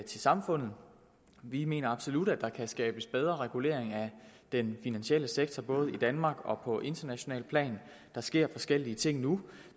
samfundet vi mener absolut at der kan skabes en bedre regulering af den finansielle sektor både i danmark og på internationalt plan der sker forskellige ting nu